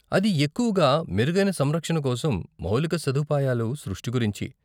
అది ఎక్కువగా మెరుగైన సంరక్షణ కోసం మౌలిక సదుపాయాలు సృష్టి గురించి.